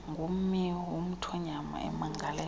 ngummi womthonyama emangalela